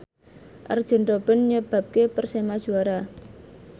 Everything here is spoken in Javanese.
Arjen Robben nyebabke Persema juara